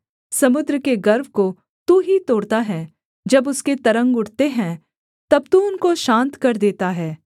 समुद्र के गर्व को तू ही तोड़ता है जब उसके तरंग उठते हैं तब तू उनको शान्त कर देता है